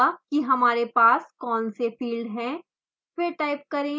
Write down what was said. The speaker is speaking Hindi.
यह दिखाएगा कि हमारे पास कौन से फ़ील्ड हैं